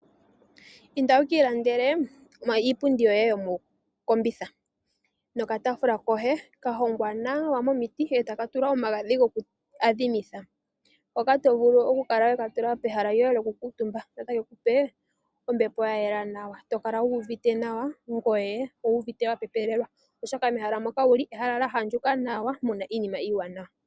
Inda wu ki ilandele iipundi yoye yo mokombitha nokataafula koye ka hongwa nawa momiti, e taka tulwa omagadhi goku adhimitha, hoka to vulu oku kala weka tula pehala lyoye lyoku kuutumba, opo take ku pe ombepo ya yela nawa, to kala wu uvite nawa, ngoye owu uvite wa pepelelwa, oshoka mehala moka wuli, ehala lya andjuka nawa, muna iinima iiwaanawa.